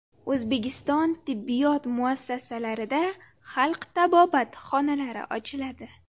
O‘zbekiston tibbiyot muassasalarida xalq tabobati xonalari ochiladi.